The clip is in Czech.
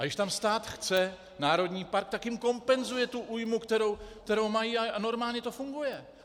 A když tam stát chce národní park, tak jim kompenzuje tu újmu, kterou mají, a normálně to funguje.